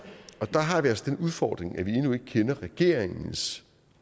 og der har vi altså den udfordring at vi endnu ikke kender regeringens